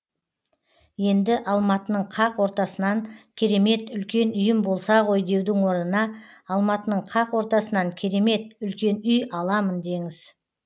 енді алматының қақ ортасынан керемет үлкен үйім болса ғой деудің орнына алматының қақ ортасынан керемет үлкен үй аламын деңіз